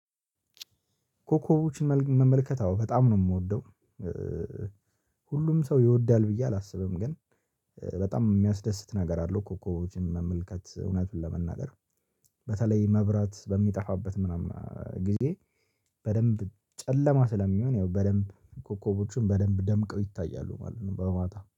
ኮኮቦችን መመልከት አዎ በጣም ነው የምወደው። ሁሉም ሰው ይወዳል ብዬ አላስብም ግን በጣም የሚያስደስት ነገር አለው። ኮከቦችን መመልከት እውነትን ለመናገር በተለይ መብራት በሚጠፋበት ምናምን ጊዜ። በደንብ ጨለማ ስለሚሆን ያው በደንብ ኮከቦችን በደንብ ደምቀው ይታያሉ ማለት ነው። በማታ